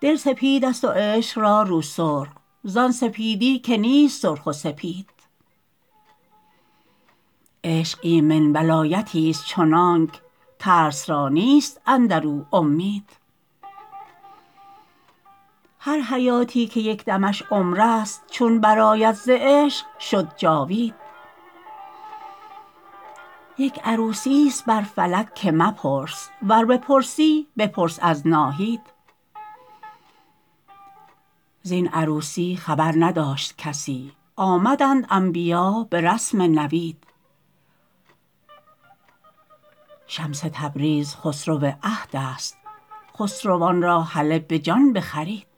دل سپیدست و عشق را رو سرخ زان سپیدی که نیست سرخ و سپید عشق ایمن ولایتیست چنانک ترس را نیست اندر او امید هر حیاتی که یک دمش عمرست چون برآید ز عشق شد جاوید یک عروسیست بر فلک که مپرس ور بپرسی بپرس از ناهید زین عروسی خبر نداشت کسی آمدند انبیا به رسم نوید شمس تبریز خسرو عهدست خسروان را هله به جان بخرید